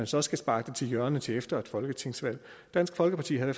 så skal sparkes til hjørne til efter et folketingsvalg dansk folkeparti havde